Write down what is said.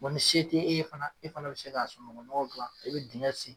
bɔn ni se te e ye fana e fana be se ka sunukun nɔgɔ gilan e be digɛn sen